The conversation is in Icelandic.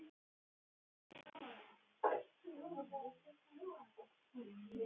Nóttin var björt og einstaka andvaka fugl heyrðist kvaka.